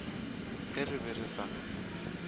ge re be re sa